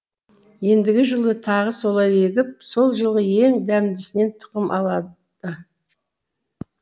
ендігі жылы тағы солай егіп сол жылғы ең дәмдісінен тұқым алады